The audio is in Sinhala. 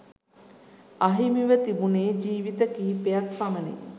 අහිමිව තිබුණේ ජීවිත කිහිපයක් පමණි